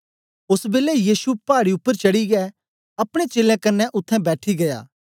ओस बेलै यीशु पाड़ी उपर चढ़ीयै अपने चेलें कन्ने उत्थें बैठी गीया